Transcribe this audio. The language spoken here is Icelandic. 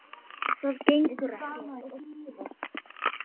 Það gengur ekki!